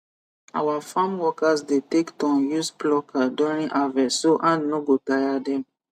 our farm workers dey take turn use plucker during harvest so hand no go tire them